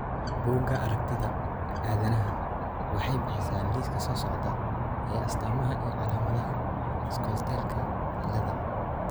Bugaa aragtida aDdanaha waxay bixisaa liiska soo socda ee astamaha iyo calaamadaha Scholteka ciladha